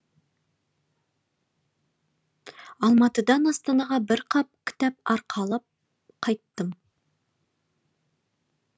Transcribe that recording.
алматыдан астанаға бір қап кітап арқалып қайттым